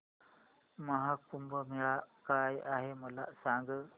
महा कुंभ मेळा काय आहे मला सांग